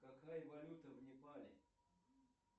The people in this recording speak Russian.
какая валюта в непале